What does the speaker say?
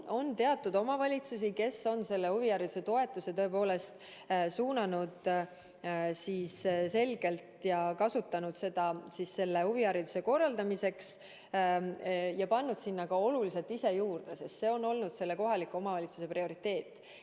On selliseid omavalitsusi, kes on selle toetuse suunanud selgelt huvihariduse korraldamisse ja pannud sinna oluliselt ka ise juurde, sest see on olnud selle kohaliku omavalitsuse prioriteet.